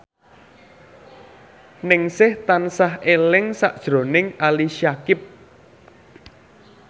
Ningsih tansah eling sakjroning Ali Syakieb